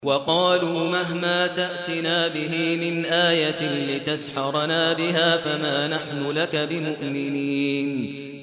وَقَالُوا مَهْمَا تَأْتِنَا بِهِ مِنْ آيَةٍ لِّتَسْحَرَنَا بِهَا فَمَا نَحْنُ لَكَ بِمُؤْمِنِينَ